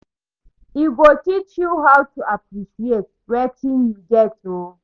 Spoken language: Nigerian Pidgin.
E go teach you how to appreciate wetin yu get o